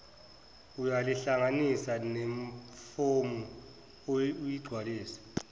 uyalihlanganisa nefomu oyigcwalisile